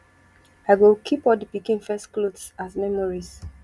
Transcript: i go keep all di pikin first clothes as memories